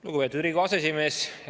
Lugupeetud Riigikogu aseesimees!